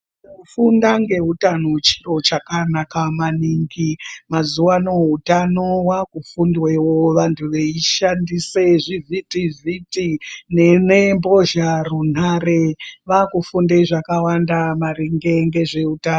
Kufunda ngeutano chiro chakanaka maningi mazuwano utano wakufundwawo weishandise zvivhiti vhiti nembozharunhare vakufunde zvakawanda maringe ngezveutano.